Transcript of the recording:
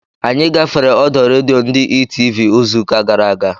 Anyị gafere ọdọ redio ndị Etv izu ụka gara aga